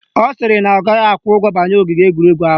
Ọ sịrị na ọ gaghị akwụ ụgwọ banye ogige egwuregwu ahụ